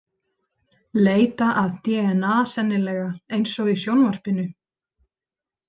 Leita að dna sennilega, eins og í sjónvarpinu.